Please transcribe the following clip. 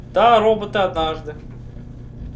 да роботы однажды